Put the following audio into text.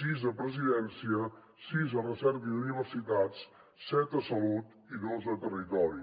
sis a presidència sis a recerca i universitats set a salut i dos a territori